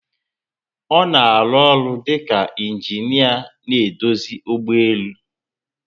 Ona arụ ọrụ dika ingineer na edozi ụgbọelu